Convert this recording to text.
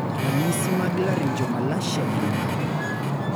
ranyisi mag Laryngomalacia gin mage?